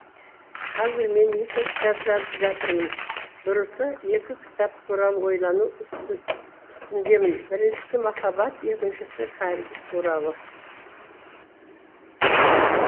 қазір мен екі кітап жазып жатырмын дұрысы екі кітап туралы ойлану үстіндемін біріншісі махаббат екіншісі кәрілік туралы